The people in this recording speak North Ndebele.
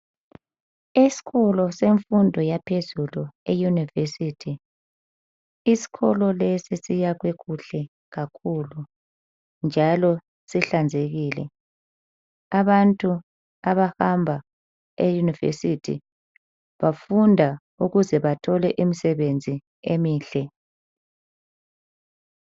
Esikolo semfundo yaphezulu eYunivesithi. Isikolo lesi siyakhwe kuhle kakhulu njalo sihlanzekile. Abantu abahamba eYunivesithi bafunda ukuze bathole imisebenzi emihle.